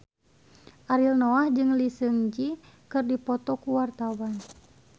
Ariel Noah jeung Lee Seung Gi keur dipoto ku wartawan